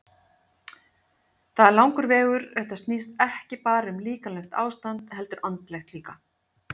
Það er langur vegur, þetta snýst ekki bara um líkamlegt ástand heldur andlegt líka.